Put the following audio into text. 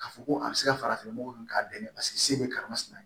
K'a fɔ ko a bɛ se ka farafin nɔgɔ dun k'a bɛn ne paseke se bɛ karimasina ye